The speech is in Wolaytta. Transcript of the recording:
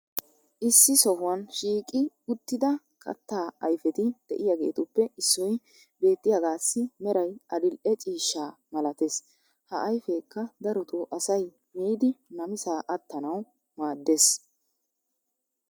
issi sohuwan shiiqi uttida kataa ayfetti diyaageetuppe issoy beettiyaagaassi meray adil'e ciishsha malattees. ha ayfeekka darotoo asay miiddi namisaa attanawu maadees.